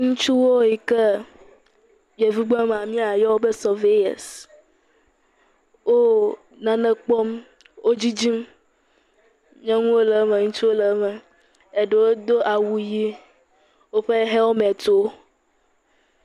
Ŋutsuwo yi ke yevugbe mea míayɔwo be surveyors wo nane kpɔm. Wo didim. Nyɔnuwo le eme ŋutsuwo le eme. Eɖewo do awu ʋi, woƒe helimɛtiwo.